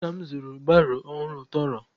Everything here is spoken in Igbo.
Nna m zụrụ baro ọhụrụ tọrọ